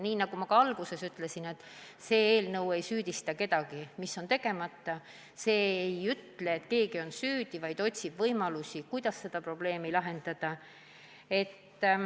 Nagu ma alguses ütlesin, see eelnõu ei süüdista kedagi selles, mis on tegemata, see ei väida, et keegi on süüdi, vaid otsib võimalusi, kuidas seda probleemi lahendada.